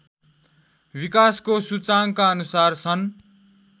विकासको सूचाङ्काअनुसार सन्